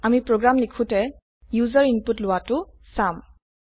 আমি চাম যে ইউজাৰ ইনপুট লবলৈ আমি প্ৰোগ্ৰাম লিখো